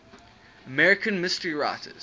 american mystery writers